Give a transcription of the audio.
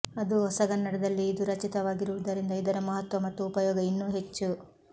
ಅದೂ ಹೊಸಗನ್ನಡದಲ್ಲಿ ಇದು ರಚಿತವಾಗಿರುವುದರಿಂದ ಇದರ ಮಹತ್ವ ಮತ್ತು ಉಪಯೋಗ ಇನ್ನೂ ಹೆಚ್ಚು